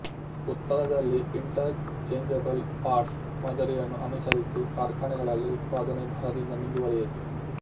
ಉತ್ತರದಲ್ಲಿ interchangeable parts ಮಾದರಿಯನ್ನು ಅನುಸರಿಸಿ ಕಾರ್ಖಾನೆಗಳಲ್ಲಿ ಉತ್ಪಾದನೆ ಭರದಿಂದ ಮುಂದುವರೆಯಿತು